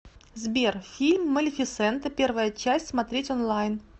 сбер фильм малефисента первая часть смотреть онлайн